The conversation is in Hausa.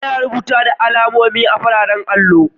Ana rubutu da alamomi a'fararen allo.